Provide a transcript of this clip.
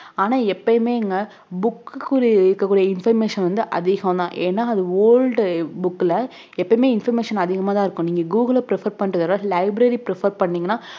ஆனா எப்பயுமேங்க book க்கு உரிய இருக்ககூடிய information வந்து அதிகம் தான் ஏன்னா அது old book ல எப்பயுமே information அதிகமா தான் இருக்கும் நீங்க கூகுளை prefer பண்றதை விட library prefer பண்ணீங்கனா